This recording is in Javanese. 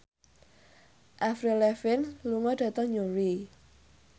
Avril Lavigne lunga dhateng Newry